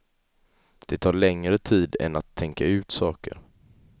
Det tar längre tid än att tänka ut saker.